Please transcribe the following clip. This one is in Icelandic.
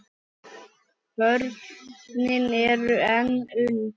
Börnin eru enn ung.